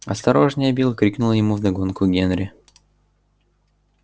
осторожнее билл крикнул ему вдогонку генри